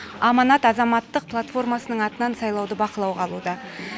аманат азаматтық платформасының атынан сайлауды бақылауға алуда